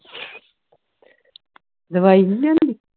ਦਵਾਈ ਨਹੀਂ ਲਿਓਨੀ